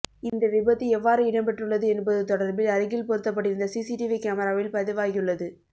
இந்த விபத்து எவ்வாறு இடம்பெற்றுள்ளது என்பது தொடர்பில் அருகில் பொருத்தப்பட்டிருந்த சீசீரிவி கமராவில் பதிவாகியுள்ளது